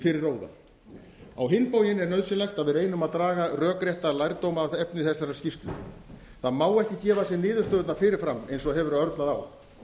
fyrir róða á hinn bóginn er nauðsynlegt að við reynum að draga rökrétta lærdóma af efni þessarar skýrslu það má ekki gefa sér niðurstöðurnar fyrir fram eins og hefur örlað á